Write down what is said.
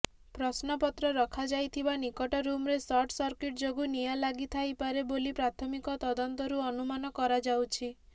ପ୍ରଶ୍ନପତ୍ର ରଖାଯାଇଥିବା ନିକଟ ରୁମରେ ସର୍ଟ ସର୍କିଟ୍ ଯୋଗୁ ନିଆଁ ଲାଗିଥାଇପାରେ ବୋଲି ପ୍ରାଥମିକ ତଦନ୍ତରୁ ଅନୁମାନ କରାଯାଉଛି